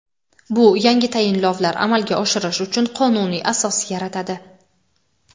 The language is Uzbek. Bu yangi tayinlovlar amalga oshirish uchun qonuniy asos yaratadi.